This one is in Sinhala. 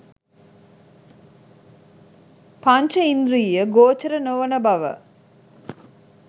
පංච ඉන්ද්‍රීය ගෝචර නොවන බව